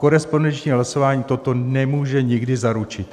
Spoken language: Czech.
Korespondenční hlasování toto nemůže nikdy zaručit.